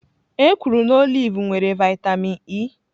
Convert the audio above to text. Ekwuru na oliv nwere vaịtamịn E.